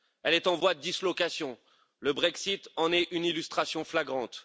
Elle est en voie de dislocation le Brexit en est une illustration flagrante.